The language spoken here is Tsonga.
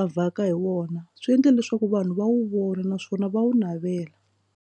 a vhaka hi wona swi endle leswaku vanhu va wu vona naswona va wu navela.